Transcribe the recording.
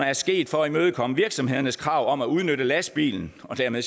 er sket for at imødekomme virksomhedernes krav om at udnytte lastbilen og dermed